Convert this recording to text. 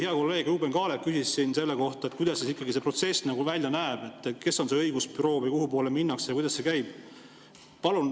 Hea kolleeg Ruuben Kaalep küsis selle kohta, kuidas see protsess välja näeb, kes on see õigusbüroo või kuhu minnakse ja kuidas see käib.